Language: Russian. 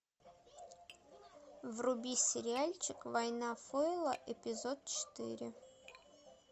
вруби сериальчик война фойла эпизод четыре